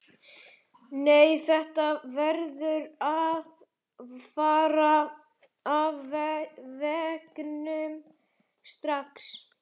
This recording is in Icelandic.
Nei, þetta verður að fara af veggnum strax!